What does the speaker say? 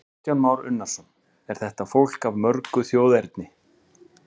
Kristján Már Unnarsson: Er þetta fólk af mörgu þjóðerni?